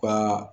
Ka